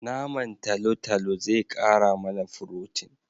Naman talotalo zai kara mana furotin